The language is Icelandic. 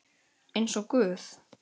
Eins og guð?